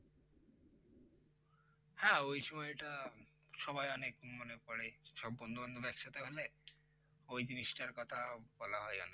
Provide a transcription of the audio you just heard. হ্যাঁ ওই সময়টা সবাই অনেক মনে পরে সব বন্ধু বান্ধব একসাথে হলে ওই জিনিসটা কথা বলা হয় অনেক